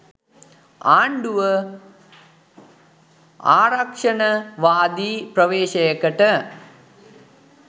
ආණ්ඩුව ආරක්‍ෂණවාදී ප්‍රවේශයකට